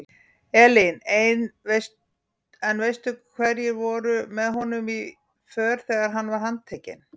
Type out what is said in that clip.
Elín: En veistu hverjir voru með honum í för þegar hann var handtekinn?